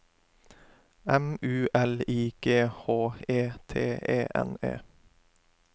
M U L I G H E T E N E